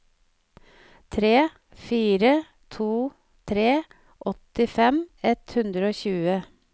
tre fire to tre åttifem ett hundre og tjue